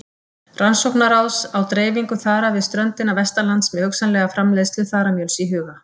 Rannsóknaráðs á dreifingu þara við ströndina vestanlands með hugsanlega framleiðslu þaramjöls í huga.